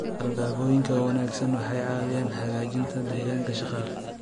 Alaabooyinka ka wanaagsan waxay caawiyaan hagaajinta deegaanka shaqada.